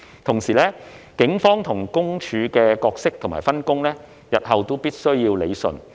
同時，警方與私隱公署的角色及分工，日後必須要理順。